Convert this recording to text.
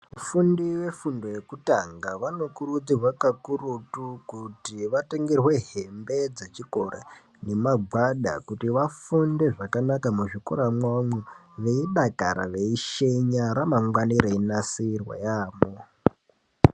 Vafundi vefundo yekutanga vanokurudzirwe kakurutu kuti vatengerwe hembe dzechikora nemagwada kuti vafunde zvakanaka muzvikora mwavomo veidakara veishenya ramangwana reinasirwa yamho